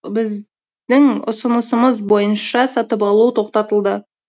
біздің ұсынысымыз бойынша сатып алу тоқтатылды